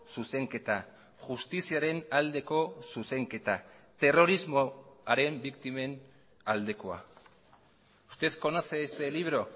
zuzenketa justiziaren aldeko zuzenketa terrorismoaren biktimen aldekoa usted conoce este libro